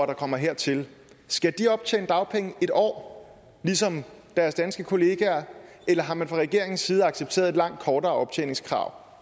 der kommer hertil skal de optjene dagpenge en år ligesom deres danske kollegaer eller har man fra regeringens side accepteret et langt kortere optjeningskrav